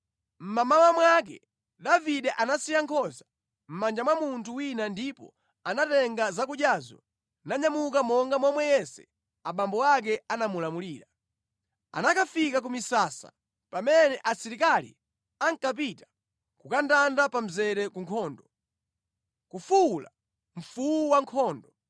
Mʼmamawa mwake Davide anasiya nkhosa mʼmanja mwa munthu wina ndipo anatenga zakudyazo nanyamuka monga momwe Yese abambo ake anamulamulira. Anakafika ku misasa pamene asilikali ankapita kukandanda pa mzere ku nkhondo, nʼkufuwula mfuwu wankhondo.